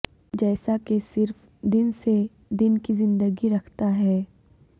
جیسا کہ صرف دن سے دن کی زندگی رکھتا ہے